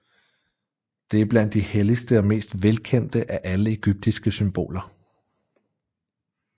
Det er blandt de helligste og mest velkendte af alle egyptiske symboler